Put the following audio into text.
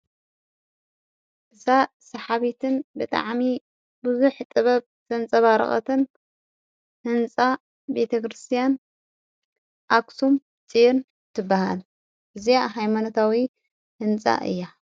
እዛ ሰሓቢትን ብጥዓሚ ብዙኅ ጥበብ ዘንጸባረቐትን ሕንፃ ቤተክርስቲያን ኣሳም ጭር ትበሃል እግዚዕ ኃይማነታዊ ሕንጻ እያ።